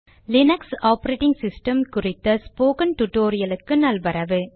Linux operating system குறித்த spoken டுடோரியலுக்கு நல்வரவு